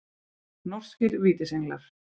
Norskir Vítisenglar.